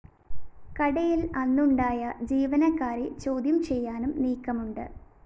കടയില്‍ അന്നുണ്ടായ ജീവനക്കാരെ ചോദ്യംചെയ്യാനും നീക്കമുണ്ട്